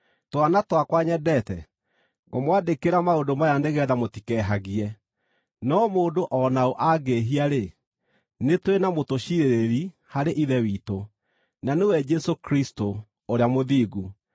Twana twakwa nyendete, ngũmwandĩkĩra maũndũ maya nĩgeetha mũtikehagie. No mũndũ o na ũ angĩĩhia-rĩ, nĩ tũrĩ na mũtũciirĩrĩri harĩ Ithe witũ, na nĩwe Jesũ Kristũ, Ũrĩa Mũthingu.